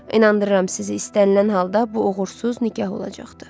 İnandırıram sizi, istənilən halda bu uğursuz nikah olacaqdı.